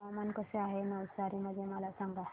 हवामान कसे आहे नवसारी मध्ये मला सांगा